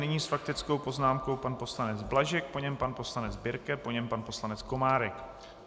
Nyní s faktickou poznámkou pan poslanec Blažek, po něm pan poslanec Birke, po něm pan poslanec Komárek.